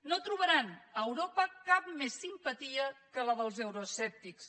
no trobaran a europa cap més simpatia que la dels euroescèptics